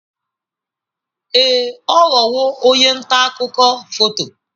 Ee, ọ ghọwo onye nta akụkọ foto.